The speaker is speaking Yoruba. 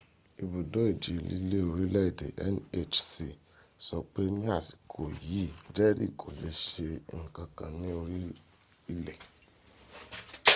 ibùdó ìjì líli orílẹ̀ èdè nhc sọ pé ní àsìkò yìí jerry kò lè ṣe ǹkan kan ní orí ilẹ̀